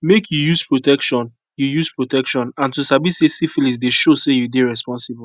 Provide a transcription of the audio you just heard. make you use protection you use protection and to sabi say syphilis dey show say you dey responsible